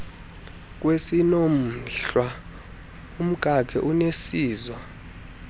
kwesiinomhlwa umkakhe uneziswa